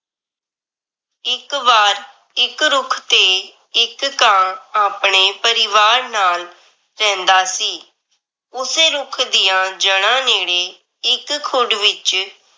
ਇੱਕ ਵਾਰ ਇੱਕ ਰੁੱਖ ਤੇ ਇੱਕ ਕਾਂ ਆਪਣੇ ਪਰਿਵਾਰ ਨਾਲ ਰਹਿੰਦਾ ਸੀ। ਉਸੇ ਰੁੱਖ ਦੀਆਂ ਜੜ੍ਹਾ ਨੇੜੇ ਇੱਕ ਖੁੱਡ ਵਿਚ